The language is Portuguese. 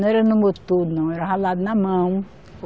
Não era no motor não, era ralado na mão.